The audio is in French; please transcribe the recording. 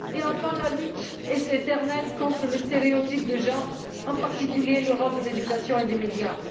Et enfin, la lutte éternelle contre les stéréotypes de genre, en particulier le rôle de l'éducation et des médias.